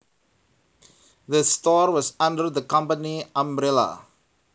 The store was under the company umbrella